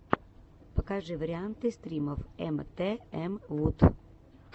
покажи варианты стримов эмтээмвуд